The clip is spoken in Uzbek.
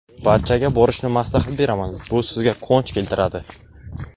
Barchaga borishni maslahat beraman, bu sizga quvonch keltiradi.